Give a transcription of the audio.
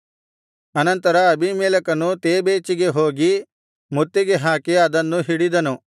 ಅನಂತರ ಅಬೀಮೆಲೆಕನು ತೇಬೇಚಿಗೆ ಹೋಗಿ ಮುತ್ತಿಗೆಹಾಕಿ ಅದನ್ನು ಹಿಡಿದನು